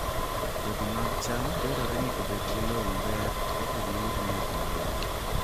Kodhi mag cham dwarore ni obed gi lowo maber eka giyud nyak maber